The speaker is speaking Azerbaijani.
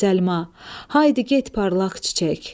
Haydi get parlaq çiçək.